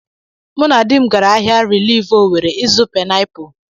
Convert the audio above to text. Mụ na dim gaara ahịa rilif Owere ịzụ painapụl.